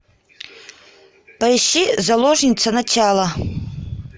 поищи заложница начало